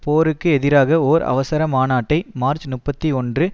போருக்கு எதிராக ஒர் அவசர மாநாட்டை மார்ச் முப்பத்தி ஒன்று